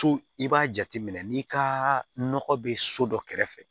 So i b'a jateminɛ n'i ka nɔgɔ bɛ so dɔ kɛrɛfɛ